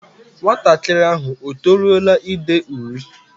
Nwatakịrị ahụ o toruola ide uri?